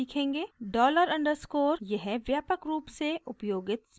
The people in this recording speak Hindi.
$_: डॉलर अंडरस्कोर यह व्यापक रूप से उपयोगित स्पेशल वेरिएबल है